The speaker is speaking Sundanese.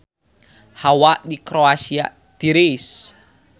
Hawa di Kroasia tiris